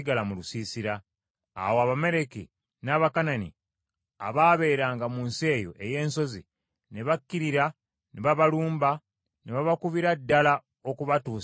Awo Abamaleki n’Abakanani abaabeeranga mu nsi eyo ey’ensozi ne bakkirira ne babalumba ne babakubira ddala okubatuusa e Koluma.